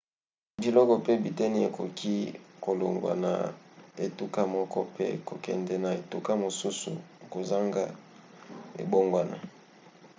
biloko pe biteni ekoki kolongwa na etuka moko pe kokende na etuka mosusu kozanga ebongwana